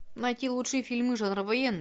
найти лучшие фильмы жанра военный